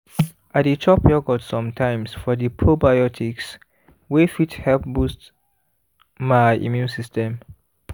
i dey chop yogurt sometimes for the probiotics wey fit help boost my immune system